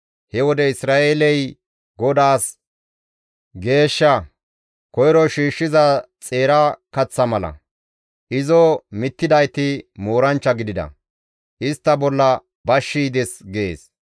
He wode Isra7eeley GODAAS geeshsha, koyro shiishshiza xeera kaththa mala; izo mittidayti mooranchcha gidida; istta bolla bashshi yides› » gees.